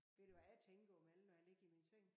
Ved du hvad jeg tænker imellem når jeg ligger i min seng?